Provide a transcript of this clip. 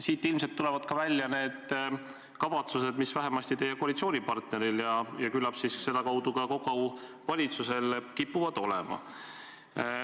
Siit ilmselt tulevad ka välja kavatsused, mis vähemasti teie koalitsioonipartneril ja küllap sedakaudu ka kogu valitsusel kipuvad olema.